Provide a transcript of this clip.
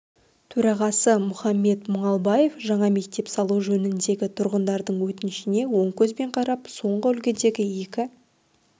төрағасы мұхамбет мұңалбаев жаңа мектеп салу жөніндегі тұрғындардың өтінішіне оң көзбен қарап соңғы үлгідегі екі